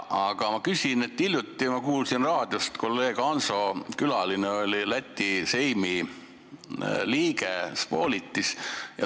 Aga hiljuti ma kuulsin raadiost saadet, kus kolleeg Hanso külaline oli Läti Seimi liige Spolitis.